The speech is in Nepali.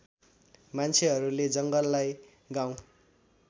मान्छेहरूले जङ्गललाई गाउँ